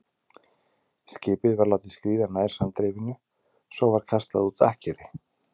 Skipið var látið skríða nær sandrifinu, svo var kastað út ankeri.